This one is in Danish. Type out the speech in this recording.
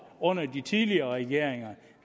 under de tidligere regeringer